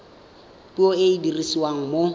puo e e dirisiwang mo